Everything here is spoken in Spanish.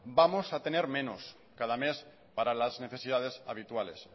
vamos a tener menos cada mes para las necesidades habituales